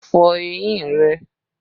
Fọ eyín rẹ!